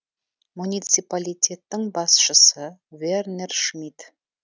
муниципалитеттің басшысы вернер шмит